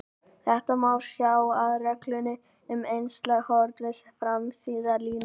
Þetta má sjá af reglunni um einslæg horn við samsíða línur.